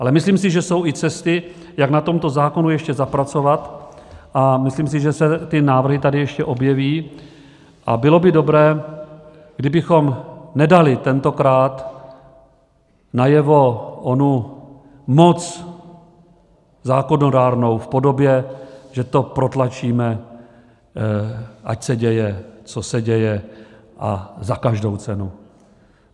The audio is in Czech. Ale myslím si, že jsou i cesty, jak na tomto zákonu ještě zapracovat, a myslím si, že se ty návrhy tady ještě objeví, a bylo by dobré, kdybychom nedali tentokrát najevo onu moc zákonodárnou v podobě, že to protlačíme, ať se děje, co se děje a za každou cenu.